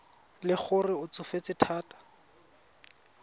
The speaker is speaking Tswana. le gore o tsofetse thata